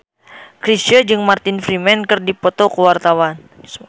Chrisye jeung Martin Freeman keur dipoto ku wartawan